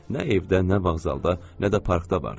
Nə evdə, nə vağzalda, nə də parkda vardı.